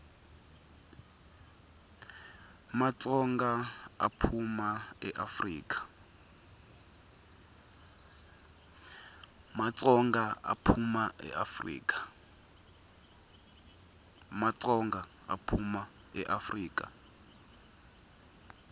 matsonga aphuma eafrika